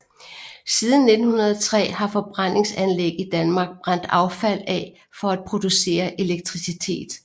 Siden 1903 har forbrændingsanlæg i Danmark brændt affald af for at producere elektricitet